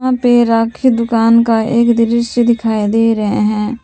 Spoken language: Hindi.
यहां पे राखी दुकान का एक दृश्य दिखाई दे रहे हैं।